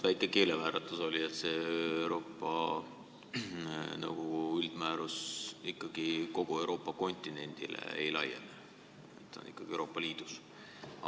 Ma usun, et teil oli väike keelevääratus, Euroopa Nõukogu üldmäärus ikkagi kogu Euroopa kontinendile ei laiene, ta kehtib Euroopa Liidus.